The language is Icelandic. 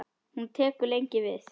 Hún tekur lengi við.